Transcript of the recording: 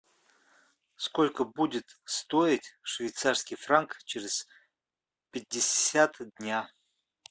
сколько будет стоить швейцарский франк через пятьдесят дня